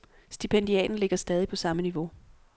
Stipendiaten ligger stadig på samme niveau.